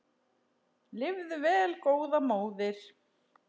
Lifðu vel góða móðir.